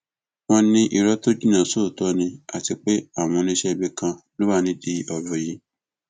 wọn ní irọ tó jinná sóòótọ ni àti pé àwọn oníṣẹẹbí kan ló wà nídìí ọrọ yìí